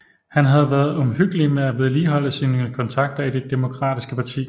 Han havde været omhyggelig med at vedligeholde sine kontakter i det Demokratiske parti